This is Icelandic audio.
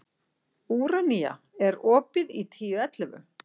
Úranía, er opið í Tíu ellefu?